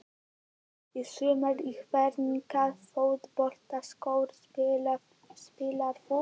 Í sumar Í hvernig fótboltaskóm spilar þú?